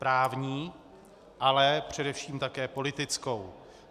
Právní, ale především také politickou.